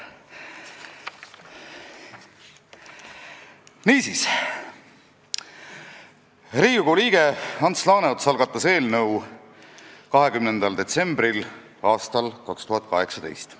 Niisiis, Riigikogu liige Ants Laaneots algatas eelnõu 20. detsembril 2018. aastal.